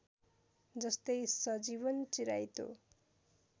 जस्तै सजीवन चिराइतो